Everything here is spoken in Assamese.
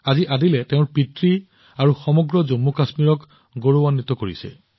আজি আদিলে গৌৰৱেৰে তেওঁৰ পিতৃ আৰু সমগ্ৰ জম্মুকাশ্মীৰৰ শিৰ গৌৰৱত দাঙি ধৰিছে